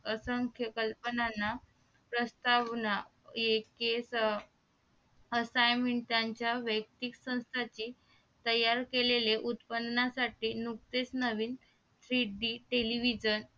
असंख्य कल्पनांना प्रस्तावना ex assignment चे तयार केलेले उत्पनाचे नुकतेच नवीन three d television